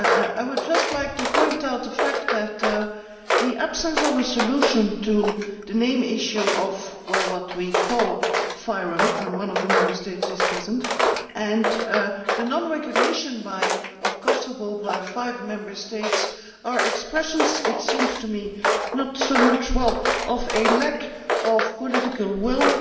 I would just like to point out the fact that the absence of a solution to the main issue of what we call FYROM when one of the Member States is present, and the non recognition of Kosovo by five Member States, are expressions, it seems to me, not so much of a lack of political will